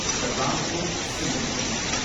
the Ramco Cement limited